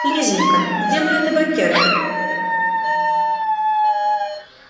лизанька где моя табакерка